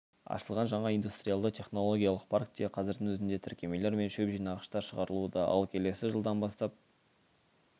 ашылған жаңа индустриялды-технологиялық паркте қазірдің өзінде тіркемелер мен шөп жинағыштар шығарылуда ал келесі жылдан бастап